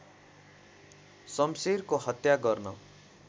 शम्शेरको हत्या गर्न